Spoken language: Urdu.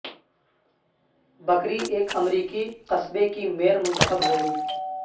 بکری ایک امریکی قصبے کی میئر منتخب ہو گئی